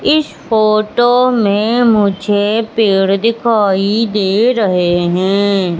इस फोटो में मुझे पेड़ दिखाई दे रहे है।